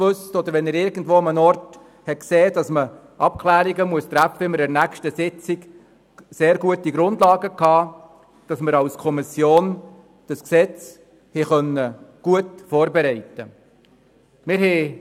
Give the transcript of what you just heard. Wenn er sah, dass Abklärungen getroffen werden mussten, bekamen wir bis zur folgenden Sitzung gute Grundlagen, sodass die Kommission das Gesetz gut vorbereiten konnte.